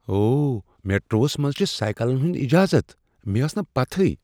اوہ! میٹروہس منٛز چھٗ سایکلن ہنٛد اجازت۔ مے٘ ٲس نہٕ پتہیہ؟